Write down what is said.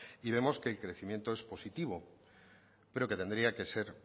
y vemos que el crecimiento es positivo pero que tendría que ser